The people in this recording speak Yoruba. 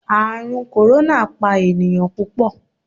Ààrùn kòrónà pa ènìyàn púpọ̀.